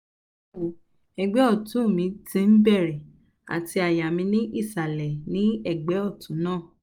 bawo ẹgbẹ́ ọ̀tún mi ti ń bẹ̀rẹ̀ àti àyà mi ni isalẹ ní ẹgbẹ́ ọ̀tún náà